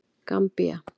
Gambía